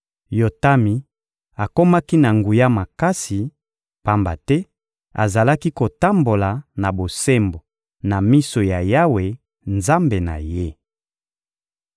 Yotami akomaki na nguya makasi, pamba te azalaki kotambola na bosembo na miso ya Yawe, Nzambe na ye.